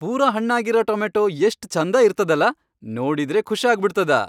ಪೂರಾ ಹಣ್ಣಾಗಿರ ಟೊಮ್ಯಾಟೊ ಎಷ್ಟ್ ಛಂಧ ಇರ್ತದಲಾ ನೋಡಿದ್ರೇ ಖುಷ್ ಆಗ್ಬಿಡ್ತದ.